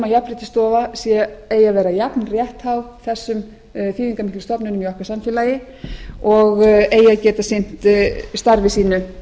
jafnréttisstofa eigi að vera jafnrétthá þessum þýðingarmiklu stofnunum í okkar samfélagi og eigi að geta sinnt starfi sínu